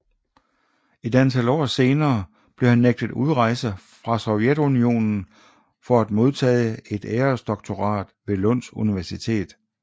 Et antal år senere blev han nægtet udrejse fra Sovjetunionen for at modtage et æresdoktorat ved Lunds Universitet